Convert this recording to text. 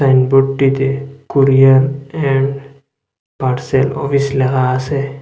সাইনবোর্ডটিতে courier and parcel office লেখা আসে।